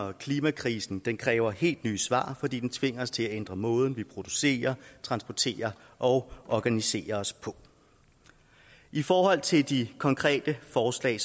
og klimakrisen kræver helt nye svar fordi den tvinger os til at ændre måden vi producerer transporterer og organiserer os på i forhold til de konkrete forslag